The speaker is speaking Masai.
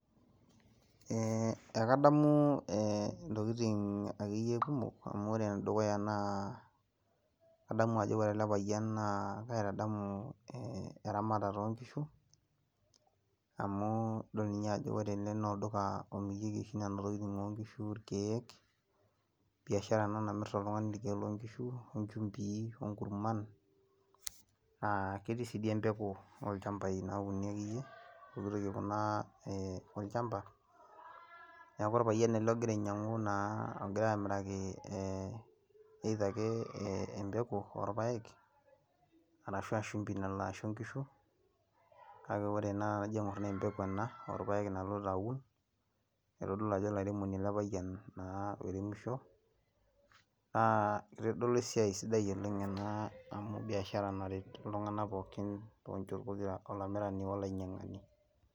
Ee akadamu ntokitin akeyie kumok amu ore enedukuya na kadamu ajo ore elepayian na kaitadamu eramatare onkishu amu adol nye ajo ore enewueji na olduka omirieki nona tokitin onkishu ,irkiek, biashara ena namirita oltungani irkiek lonkishu ,incumbii, onkurman, ketii sinye empuku olchambai neaku orpayian elebogira ainyangu ee egirai amiraki e embeku orpaek ashu a shumbi onkishu kake anajo aingor na empeku ena orpaek naloito aun, itadolu ajo olaremoni elepayian loiremisho na kitadolu esiai sidai oleng ena amu biashara naret tonchot pokira amu olaremoni olainyangani.